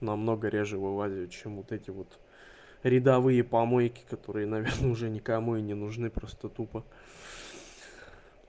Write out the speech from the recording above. намного реже вывозить чем вот эти вот рядовые помойки которые наверное уже никому и не нужны просто тупо